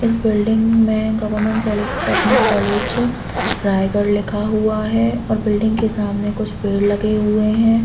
इस बिल्डिंग में government polytechnic college है रायगढ़ लिखा हुआ है और बिल्डिं के सामने कुछ पेड़ लगे हुए है।